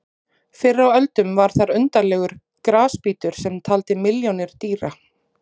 Fyrr á öldum var þar undarlegur grasbítur sem taldi milljónir dýra.